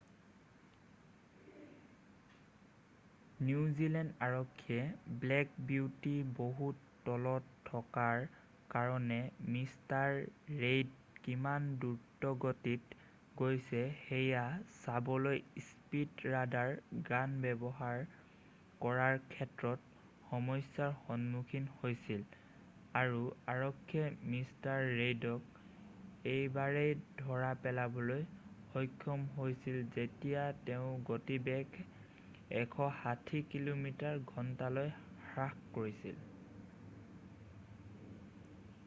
New Zealand আৰক্ষীয়ে Black Beauty বহুত তলত থকাৰ কাৰণে মিষ্টাৰ ৰেইড কিমান দ্ৰুতগতিত গৈছে সেয়া চাবলৈ স্পীড ৰাডাৰ গান ব্যৱহাৰ কৰাৰ ক্ষেত্ৰত সমস্যাৰ সন্মুখীন হৈছিল আৰু আৰক্ষীয়ে মিষ্টাৰ ৰেইডক এবাৰেই ধৰা পেলাবলৈ সক্ষম হৈছিল যেতিয়া তেওঁ গতিবেগ ১৬০ কিমি/ঘণ্টালৈ হ্ৰাস কৰিছিল।